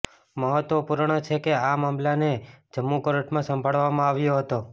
મહત્વપૂર્ણ છે કે આ મામલાને જમ્મુ કોર્ટમાં સાંભળવામાં આવ્યો હતો